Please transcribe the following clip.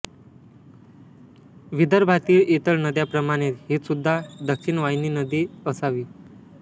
विदर्भातील इतर नद्या प्रमाणेच हि सुद्धा दक्षिण वाहिनी नदी असावी